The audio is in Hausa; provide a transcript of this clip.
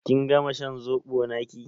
Kin gama shan zobo naƙi?